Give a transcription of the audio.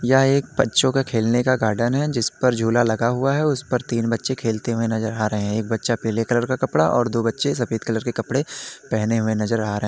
यह एक बच्चों के खेलने का गार्डन है जिसपर झूला लगा हुआ है उसपर तीन बच्चे खेलते हुए नजर आ रहे हैं। एक बच्चा पीले कलर के कपड़ा और दो बच्चें सफेद कलर के कपड़े पहने हुए नजर आ रहे।